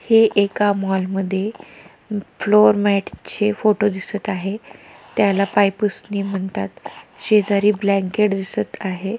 हे एका मॉलमध्ये फ्लोर मॅटचे फोटो दिसत आहे त्याला पायपुसणी म्हणतात शेजारी ब्लॅंकेट दिसत आहे.